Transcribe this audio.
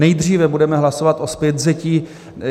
Nejdříve budeme hlasovat o zpětvzetí.